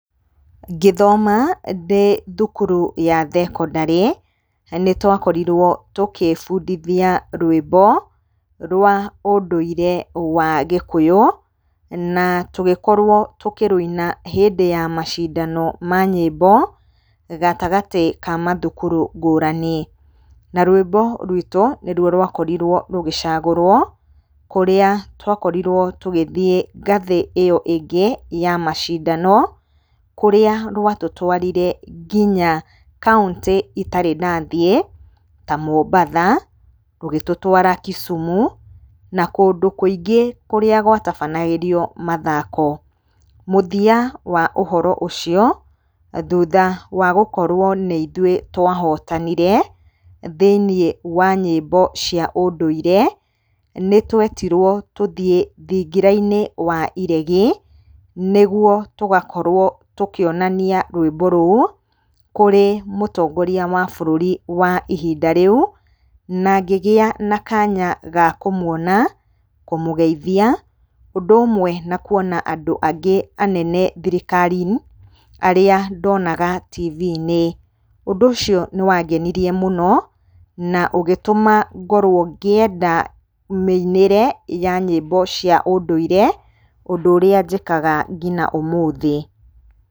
Ngĩthoma ndĩ thukuru ya thekondarĩ nĩtwakorirwo tũgĩbundithia rwĩmbo rwa ũndũire wa gĩkũyúũna tũgĩkorwo tũkĩrũina hĩndĩ ya macindano ma nyĩmbo gatagatĩ ka macukuru ngũrani na rwĩmbo rwitũ nĩrwo rwakorirwo rũgĩcagũrwo kúũíĩ twakorirwo tũgĩthĩĩ ngathĩ ĩyo ĩngĩ ya macindano kũrĩa rwatũtwarire ngina county itarĩ ndathĩĩ ta Mombatha rũgĩtũtwara Kisumu na kũndũ kũingĩ kũrĩa gwatabanagĩrio mathako mũthia wa ũhoro ũcio thutha wa gũkorwo nĩ ithũĩ twahotanire thĩinĩ wa nyĩmbo cia ũndũire nĩtwíetirwo tũthĩĩ thingira-inĩ wa iregi nĩgwo tũgakorwo tũkionani a rwĩmbo rũũ kúũĩ mũtongoria wa bũrũri wa ihinda rĩu na ngĩgia na kanya ga kũmwona kũmũgeithia ũndũ ũmwe na kuona andũ angĩ anene thirikari-inĩ aríĩ ndonaga tv-inĩ. Ũndũ ũcio nĩwangenirie mũno na ũgĩtũma ngorwo ngĩenda mĩinĩre ya nyĩmbo cia ũndũire, ũndũ ũrĩa njĩkaga ngina ũmũthĩ.